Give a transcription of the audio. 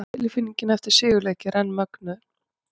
Tilfinningin eftir sigurleiki er enn mögnuð!